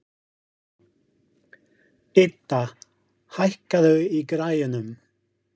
Idda, hækkaðu í græjunum.